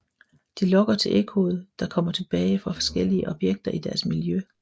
De lytter til ekkoet der kommer tilbage fra forskellige objekter i deres miljø